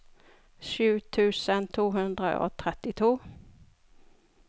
sju tusen to hundre og trettito